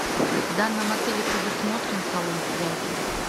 в данном отеле предусмотрен салон связи